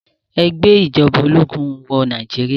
Ẹ gbé ìjọba ológun wọ Nàìjíríà.